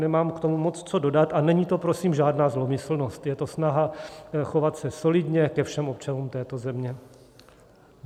Nemám k tomu moc co dodat a není to, prosím, žádná zlomyslnost, je to snaha chovat se solidně ke všem občanům této země.